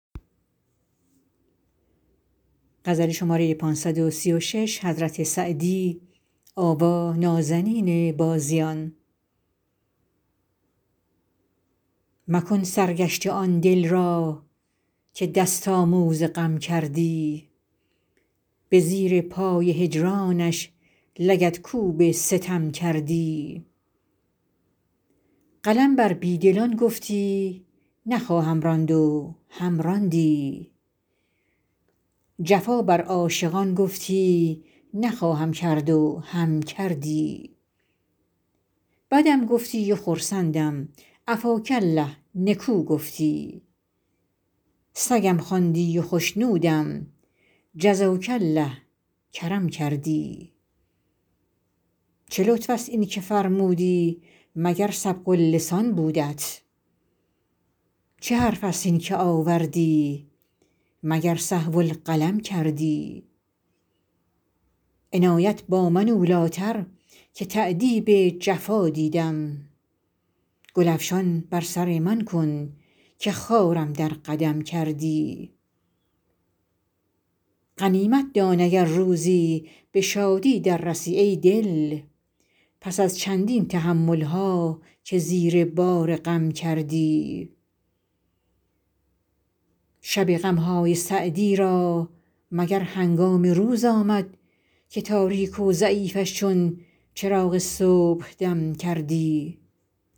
مکن سرگشته آن دل را که دست آموز غم کردی به زیر پای هجرانش لگدکوب ستم کردی قلم بر بی دلان گفتی نخواهم راند و هم راندی جفا بر عاشقان گفتی نخواهم کرد و هم کردی بدم گفتی و خرسندم عفاک الله نکو گفتی سگم خواندی و خشنودم جزاک الله کرم کردی چه لطف است این که فرمودی مگر سبق اللسان بودت چه حرف است این که آوردی مگر سهو القلم کردی عنایت با من اولی تر که تأدیب جفا دیدم گل افشان بر سر من کن که خارم در قدم کردی غنیمت دان اگر روزی به شادی در رسی ای دل پس از چندین تحمل ها که زیر بار غم کردی شب غم های سعدی را مگر هنگام روز آمد که تاریک و ضعیفش چون چراغ صبحدم کردی